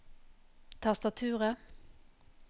tastaturet